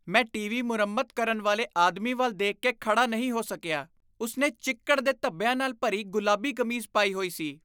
ਮੈਂ ਟੀਵੀ ਮੁਰੰਮਤ ਕਰਨ ਵਾਲੇ ਆਦਮੀ ਵੱਲ ਦੇਖ ਕੇ ਖੜ੍ਹਾ ਨਹੀਂ ਹੋ ਸਕਿਆ। ਉਸ ਨੇ ਚਿੱਕੜ ਦੇ ਧੱਬਿਆਂ ਨਾਲ ਭਰੀ ਗੁਲਾਬੀ ਕਮੀਜ਼ ਪਾਈ ਹੋਈ ਸੀ।